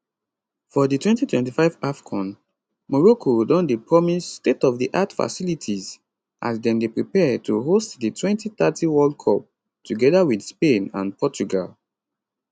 for di 2025 afcon morocco don dey promise stateofdiart facilities as dem dey prepare to host di 2030 world cup togeda wit spain and portugal